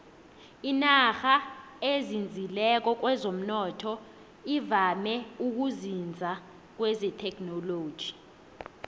inarha ezinzileko kwezomnotho ivame ukuzinza kuthekhinoloji